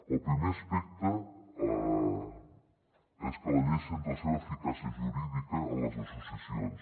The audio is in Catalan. el primer aspecte és que la llei centra la seva eficàcia jurídica en les associacions